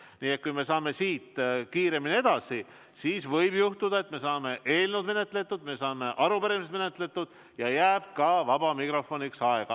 Nii et kui me saame siit kiiremini edasi, siis võib juhtuda, et me saame eelnõud menetletud, me saame arupärimised menetletud ja jääb ka vabaks mikrofoniks aega.